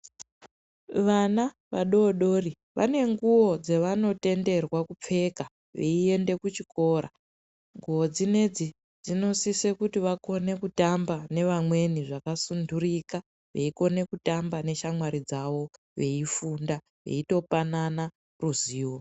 Vana vadodori vane nguwo dzavanotenderwa kupfeka veyienda kuchikora, nguwo dzinedzi dzinosise kuti vakone kutamba nevamweni zvakasundurika, veyikona kutamba neshamwari dzavo, veyifunda veyitopanana ruzivo.